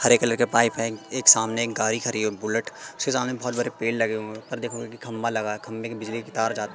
हरे colour के pipe हैं एक सामने एक गाड़ी खड़ी है बुलेट उसके सामने बहुत बड़े पेड़ लगे हुए हैं ऊपर देखोगे कि खंभा लगा है खंभे की बिजली की तार जा --